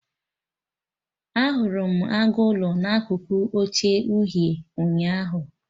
Ahụrụ m agụ ụlọ na akụkụ oche uhie, ụnyaahụ